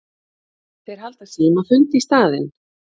Þeir halda símafund í staðinn.